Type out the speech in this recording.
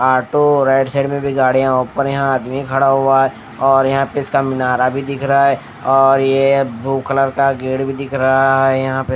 auto right side में भी गाड़ियां ऊपर यहां आदमी खड़ा हुआ है और यहां पर इसका मीनारा भी दिख रहा है और ये ब्लू कलर का गेट भी दिख रहा है यहां पे --